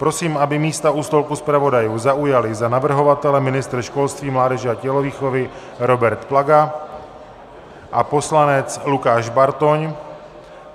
Prosím, aby místa u stolku zpravodajů zaujali za navrhovatele ministr školství mládeže a tělovýchovy Robert Plaga a poslanec Lukáš Bartoň.